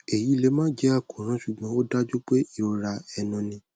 eyi le ma je akoran sugbon o daju pe irora enu ni